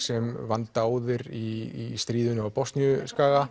sem vann dáðir í stríðinu á